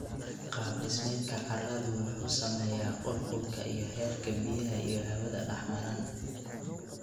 Qaab dhismeedka carradu wuxuu saameeyaa qulqulka iyo heerka biyaha iyo hawadu dhex maraan.